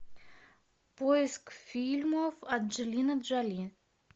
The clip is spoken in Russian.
поиск фильмов анджелины джоли